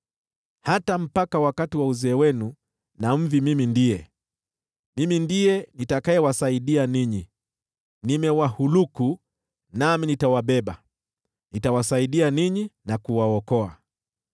Hata mpaka wakati wa uzee wenu na mvi, Mimi ndiye, Mimi ndiye nitakayewasaidia ninyi. Nimewahuluku, nami nitawabeba, nitawasaidia ninyi na kuwaokoa.